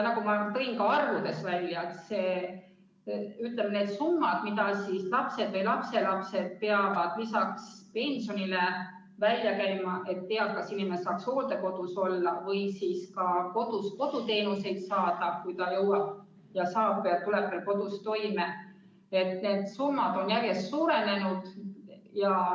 Nagu ma tõin esile ka arvudes, ütleme, need summad, mida lapsed või lapselapsed peavad lisaks pensionile välja käima, et eakas inimene saaks hooldekodus olla või siis ka kodus teenuseid saada, kui ta saab ja tuleb veel ise toime, on järjest suurenenud.